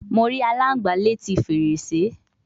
Mo ri alangba leti ferese